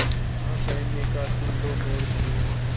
ना कहने का सुन लो मुहूर्त यही